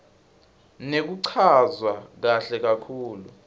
nekuchazwa kahle kakhulu